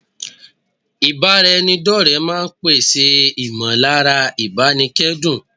Ìbára ẹni dọ́ọ̀rẹ́ máa n pèsè Emotional support ìmọ̀lára ìbánikẹ́dùn